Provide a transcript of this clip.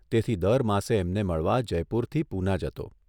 તેથી દર માસે એમને મળવા જયપુરથી પૂના જતો.